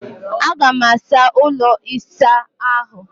Aga m asa ụlọ ịsa ahụ